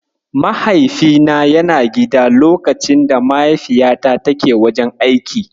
Mahaifina yana gida lokacin da Mahaifiyata take wajen aiki